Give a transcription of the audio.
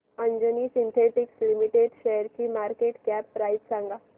Anjani synthetics limited शेअरची market cap price सांगा